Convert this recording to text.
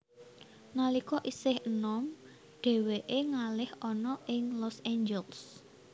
Nalika isih enom dheweke ngalih ana ing Los Angeles